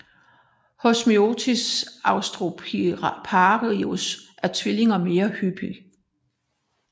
Hos Myotis austroriparius er tvillinger mere hyppige